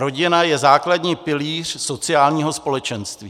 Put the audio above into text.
Rodina je základní pilíř sociálního společenství.